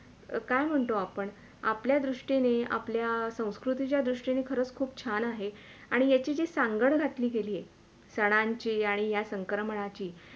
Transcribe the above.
काय म्हणतो आपण आपल्या दृष्टीने आपल्या संस्कृतीच्या दृष्टीने खरंच खूप छान आहे आणि एक ही सांगड घातली गेली आहे सणांची आणि या संक्रमणांची